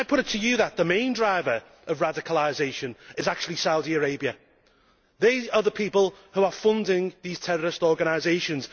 Can I put it to you that the main driver of radicalisation is actually Saudi Arabia? They are the people who are funding these terrorist organisations.